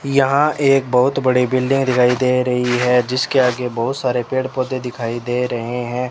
यहां एक बहोत बड़ी बिल्डिंग दिखाई दे रही है जिसके आगे बहोत सारे पेड़ पौधे दिखाई दे रहे हैं।